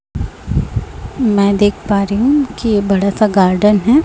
मैं देख पा रही हूं कि ये बड़ा सा गार्डन है।